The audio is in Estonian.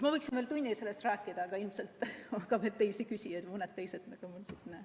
Ma võiksin veel tund aega sellest rääkida, aga ilmselt on veel teisigi küsijaid.